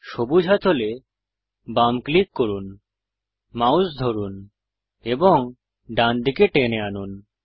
সবুজ হাতলে বাম ক্লিক করুন মাউস ধরুন এবং ডানদিকে টেনে আনুন